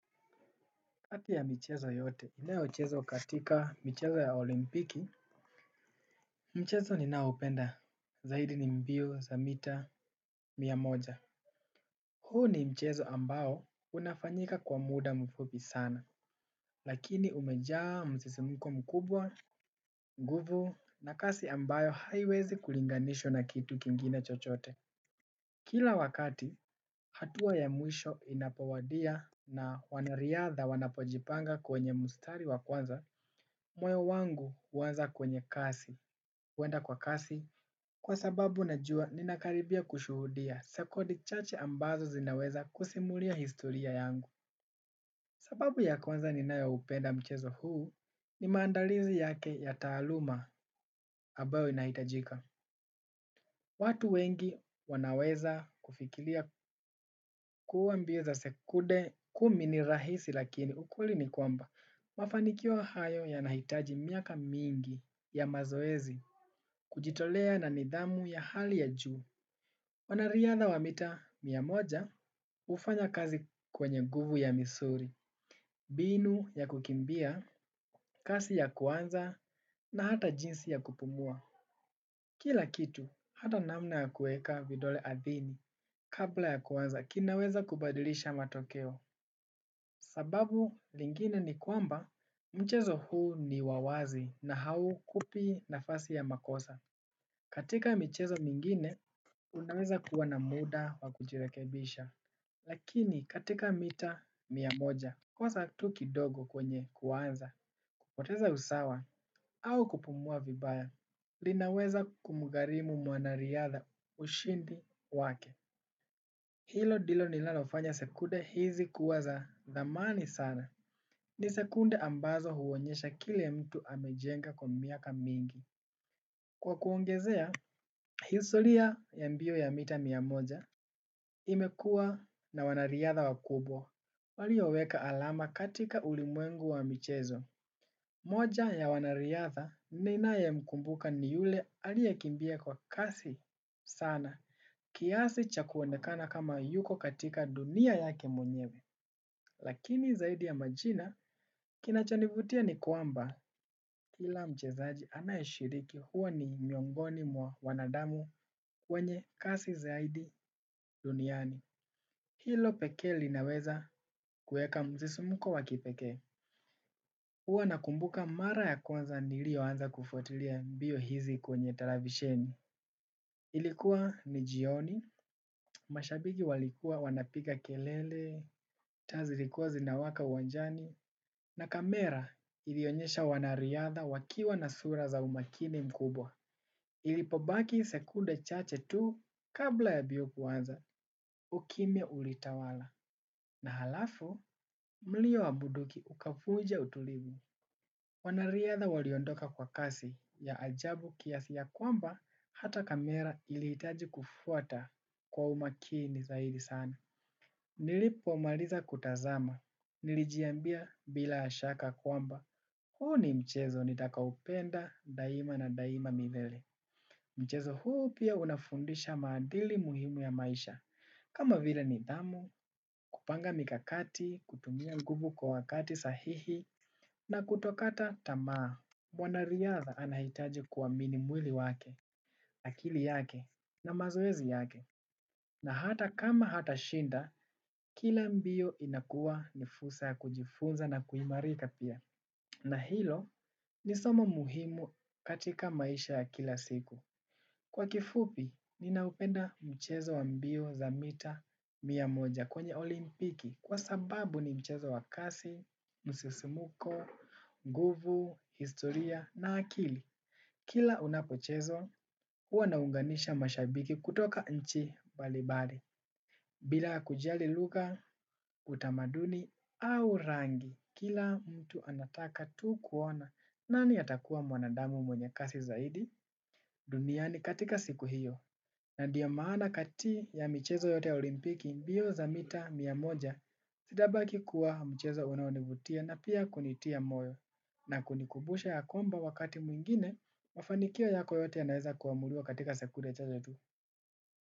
Kati ya michezo yote inayochezwa katika michezo ya olimpiki mchezo ninaopenda zaidi ni mbio za mita mia moja huu ni mchezo ambao unafanyika kwa muda mfupi sana. Lakini umejaa msisimko mkubwa nguvu na kasi ambayo haiwezi kulinganishwa na kitu kingine chochote. Kila wakati hatua ya mwisho inapowadia na wanariadha wanapojipanga kwenye mstari wa kwanza moyo wangu huanza kwenye kasi, huenda kwa kasi kwa sababu najua ninakaribia kushuhudia sekunde chache ambazo zinaweza kusimulia historia yangu. Sababu ya kwanza ninayoupenda mchezo huu ni maandalizi yake ya taaluma ambayo inahitajika. Watu wengi wanaweza kufikiria kuwa mbio za sekunde kumi ni rahisi lakini ukweli ni kwamba. Mafanikio hayo yanahitaji miaka mingi ya mazoezi kujitolea na nidhamu ya hali ya juu. Wanariadha wa mita mia moja hufanya kazi kwenye nguvu ya misuli, mbinu ya kukimbia, kasi ya kuanza na hata jinsi ya kupumua. Kila kitu hata namna ya kuweka vidole ardhini kabla ya kuanza kinaweza kubadilisha matokeo sababu lingine ni kwamba mchezo huu ni wa wazi na haukupi nafasi ya makosa. Katika michezo mingine, unaweza kuwa na muda wa kujirekebisha, lakini katika mita mia moja. Kosa tu kidogo kwenye kuanza, kupoteza usawa au kupumua vibaya linaweza kumgharimu mwanariadha ushindi wake. Hilo ndilo linalofanya sekunde hizi kuwa za thamani sana. Ni sekunde ambazo huonyesha kile mtu amejenga kwa miaka mingi. Kwa kuongezea, historia ya mbio ya mita mia moja imekuwa na wanariadha wakubwa. Walioweka alama katika ulimwengu wa michezo. Mmoja ya wanariadha ninayemkumbuka ni yule aliyekimbia kwa kasi sana. Kiasi cha kuonekana kama yuko katika dunia yake mwenyewe. Lakini zaidi ya majina kinachonivutia ni kwamba kila mchezaji anayeshiriki huwa ni miongoni mwa wanadamu wenye kasi zaidi duniani. Hilo pekee linaweza kuweka msisimko wa kipekee. Huwa nakumbuka mara ya kwanza niliyoanza kufuatilia mbio hizi kwenye televisheni. Ilikuwa ni jioni, mashabiki walikuwa wanapiga kelele, taa zilikuwa zinawaka uwanjani, na kamera ilionyesha wanariadha wakiwa na sura za umakini mkubwa. Ilipobaki sekunde chache tu kabla ya mbio kuanza, ukimya ulitawala. Na halafu, mlio wa bunduki ukavunja utulivu. Wanariadha waliondoka kwa kasi ya ajabu kiasi ya kwamba hata kamera ilihitaji kufuata kwa umakini zaidi sana. Nilipomaliza kutazama. Nilijiambia bila shaka kwamba. Huu ni mchezo nitakaopenda daima na daima milele. Mchezo huu pia unafundisha maadili muhimu ya maisha. Kama vile nidhamu kupanga mikakati kutumia nguvu kwa wakati sahihi na kutokata tamaa mwanariadha anahitaji kuamini mwili wake, akili yake na mazoezi yake. Na hata kama hatashinda, kila mbio inakuwa ni fursa ya kujifunza na kuimarika pia. Na hilo ni somo muhimu katika maisha ya kila siku. Kwa kifupi, ninaupenda mchezo wa mbio za mita mia moja kwenye olimpiki kwa sababu ni mchezo wa kasi, msisimko, nguvu, historia na akili. Kila unapochezwa, huwa unaunganisha mashabiki kutoka nchi mbalimbali. Bila kujali lugha utamaduni au rangi, kila mtu anataka tu kuona nani atakuwa mwanadamu mwenye kasi zaidi duniani katika siku hiyo. Na ndiyo maana kati ya michezo yote ya olimpiki mbio za mita mia moja zitabaki kuwa mchezo unaonivutia na pia kunitia moyo na kunikumbusha ya kwamba wakati mwingine mafanikio yako yote yanaweza kuamuliwa katika sekunde chache tu.